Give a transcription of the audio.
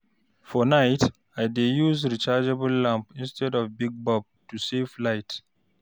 For night, I dey use rechargeable lamp instead of big bulb to save light.